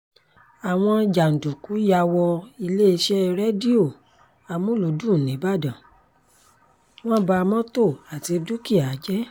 àwọn jàǹdùkú yà wọ iléeṣẹ́ rédíò amulùdùn nìbàdàn wọn ba mọ́tò àti dúkìá jẹ́